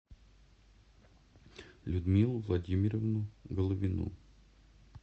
людмилу владимировну головину